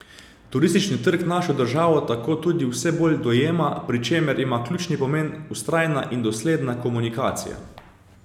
Turistični trg našo državo tako tudi vse bolj dojema, pri čemer ima ključni pomen vztrajna in dosledna komunikacija.